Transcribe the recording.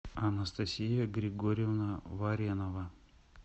анастасия григорьевна варенова